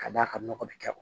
Ka d'a kan nɔgɔ bɛ kɛ